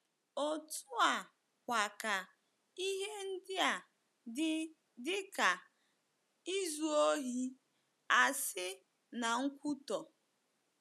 Otú a kwa ka ihe ndia dị dịka izu ohi, asi, na nkwutọ.